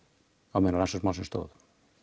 á meðan á rannsókn málsins stóð